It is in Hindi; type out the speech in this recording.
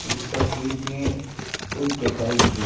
इस तस्वीर में कोई देखाई दे--